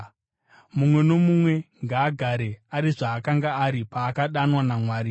Mumwe nomumwe ngaagare ari zvaakanga ari paakadanwa naMwari.